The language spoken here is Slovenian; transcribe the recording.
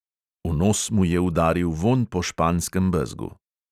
V nos mu je udaril vonj po španskem bezgu.